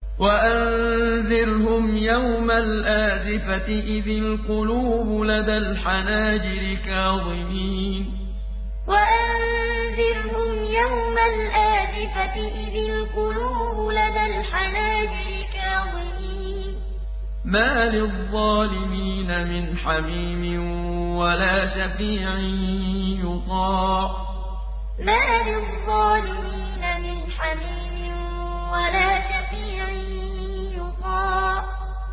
وَأَنذِرْهُمْ يَوْمَ الْآزِفَةِ إِذِ الْقُلُوبُ لَدَى الْحَنَاجِرِ كَاظِمِينَ ۚ مَا لِلظَّالِمِينَ مِنْ حَمِيمٍ وَلَا شَفِيعٍ يُطَاعُ وَأَنذِرْهُمْ يَوْمَ الْآزِفَةِ إِذِ الْقُلُوبُ لَدَى الْحَنَاجِرِ كَاظِمِينَ ۚ مَا لِلظَّالِمِينَ مِنْ حَمِيمٍ وَلَا شَفِيعٍ يُطَاعُ